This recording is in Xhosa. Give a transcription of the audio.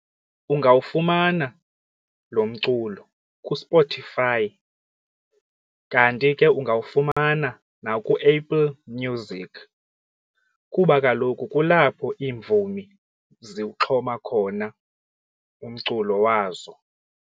Ungawufumana lo mculo kuSpotify, kanti ke ungawufumana nakuApple Music kuba kaloku kulapho iimvumi ziwuxhoma khona umculo wazo.